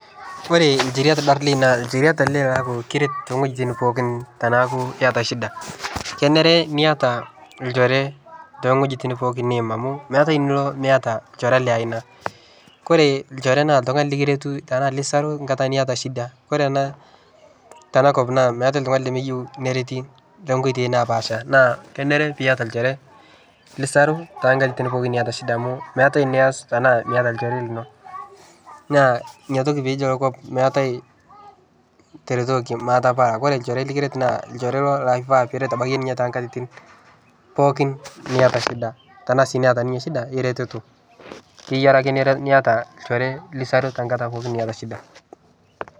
Ore olchore naa ekiret enkolog niata shida kenare niata olchore tewueji pookin niyim amu meeta enilo Miata olchore ore olchore naa ninye esapuk enkata niata shida ore tenakop meet oltung'ani lemeyieu neretito too nkoitoi napashaa naa teniata olchore lisaru neeku Miata shida amu meeta enias Miata olchore lino naa ena peji meetae taretoki matapala ore olchore likiret naa olchore laa kifaa nikiret too nkatitin pookin niata shida Tena sii keeta ninye shida niretu kenare niata olchore lisaru enkata niata shida